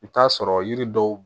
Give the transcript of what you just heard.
I bi t'a sɔrɔ yiri dɔw